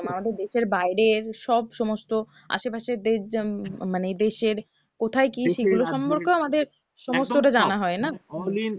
আমাদের দেশের বাইরে সব সমস্ত আশেপাশের দেশ যেমন মানে দেশের কোথায় কি সেগুলো সম্পর্কেও আমাদের সমস্তটা জানা হয় না